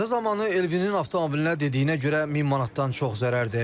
Qəza zamanı Elvinin avtomobilinə dediyinə görə 1000 manatdan çox zərər dəyib.